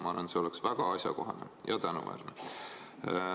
Ma arvan, et see oleks väga asjakohane ja tänuväärne.